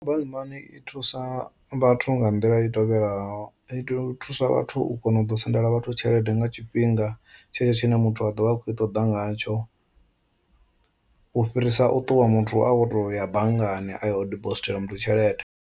Mobile money i thusa vhathu nga nḓila i tevhelaho i to u thusa vhathu u kona u ḓo sendela vhathu tshelede nga tshifhinga tshetsho tshine muthu a ḓovha a khou i ṱoḓa ngatsho, u fhirisa u ṱuwa muthu a to ya banngani a yo dibosithela muthu tshelede.